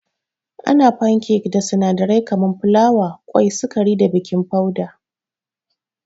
Ana fankek da sinadarai kaman filawa, kwai, sukari da baking foda.